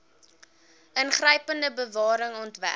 ingrypende bewaring ontwerp